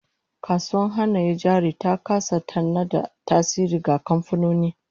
Kasuwar Hannayen Jari ta kasa tana da tasiri ga kamfanoni